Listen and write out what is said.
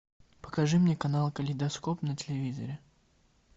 покажи мне канал калейдоскоп на телевизоре